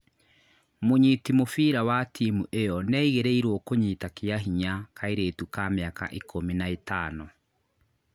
Mũnyiti mũbira wa timu ĩyo nĩ aigĩrĩirwo kũnyita kĩa hinya kairĩtu ka mĩaka ikumi na ĩtano